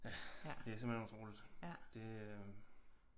Ja det er simpelthen utroligt det øh